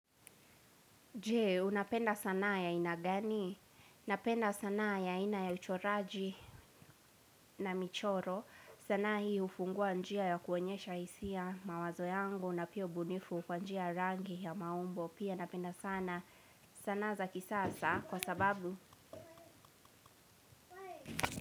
Je, unapenda sanaa ya aina gani? Napenda sanaa ya aina ya uchoraji na michoro. Sanaa hii hufungua njia ya kuonyesha hisia mawazo yangu na pia ubunifu kwa njia ya rangi ya maumbo. Pia napenda sana sanaa za kisasa kwa sababu.